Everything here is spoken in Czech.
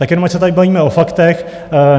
Tak jenom ať se tady bavíme o faktech.